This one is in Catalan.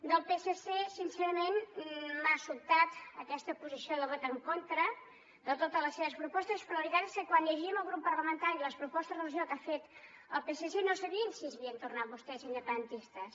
del psc sincerament m’ha sobtat aquesta posició de vot en contra de totes les seves propostes però la veritat és que quan llegíem al grup parlamentari les propostes de resolució que ha fet el psc no sabíem si s’havien tornat vostès independentistes